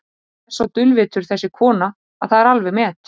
Hún er svo dulvitur þessi kona að það er alveg met.